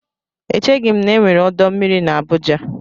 Echeghi m na-enwere ọdọ mmiri na Abuja.